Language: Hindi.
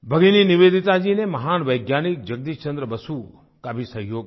भगिनी निवेदिता जी ने महान वैज्ञानिक जगदीश चन्द्र बसु का भी सहयोग किया